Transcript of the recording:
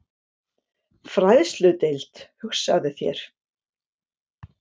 Fræðsludeild, hugsaðu þér!